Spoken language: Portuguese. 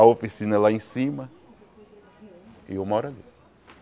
A oficina é lá em cima e eu moro ali.